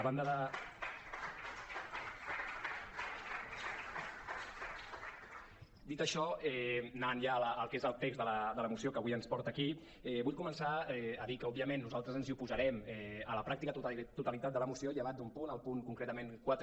dit això anant ja al que és el text de la moció que avui ens porta aquí vull començar a dir que òbviament nosaltres ens oposarem a la pràctica totalitat de la moció llevat d’un punt el punt concretament quatre